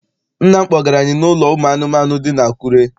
Nna m kpọgara anyị n'ụlọ ụmụ anụmanụ dị n'Akure.